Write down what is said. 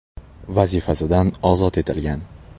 vazifasidan ozod etilgan.